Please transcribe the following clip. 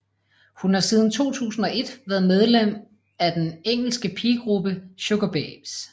Hun har siden 2001 været medlem af den engelske pigegruppe Sugababes